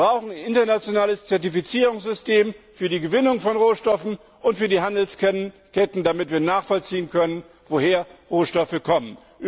Wir brauchen ein internationales Zertifizierungssystem für die Gewinnung von Rohstoffen und für die Handelsketten, damit wir nachvollziehen können, woher Rohstoffe kommen.